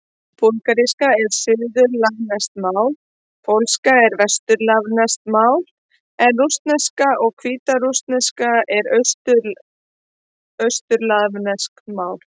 Búlgarska er suðurslavneskt mál, pólska er vesturslavneskt mál en rússneska og hvítrússneska eru austurslavnesk mál.